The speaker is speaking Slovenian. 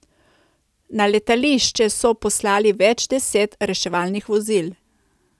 Na letališče so poslali več deset reševalnih vozil.